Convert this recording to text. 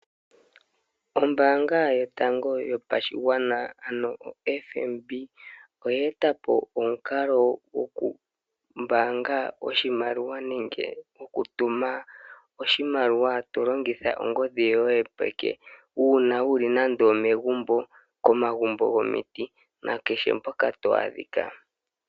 Ombaanga yotango yopashigwana ano oFNB, oya eta po omukalo gokumbaanga oshimaliwa nenge okutuma oshimaliwa, to longitha ongodhi yo ye yopeke, uuna wu li nande omegumbo, komagumbo gomiti na kehe mpoka to adhika.